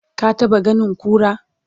ka taɓa ganin kura?